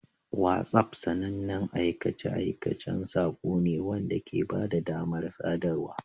WhatsApp sanannen aikace-aikacen saƙo ne wanda ke ba da damar sadarwa.